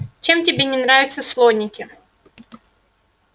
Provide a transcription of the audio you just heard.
чем тебе не нравятся слоники